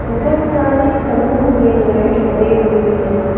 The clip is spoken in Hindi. बहुत सारे खभों में लाइट लगे हुए हैं।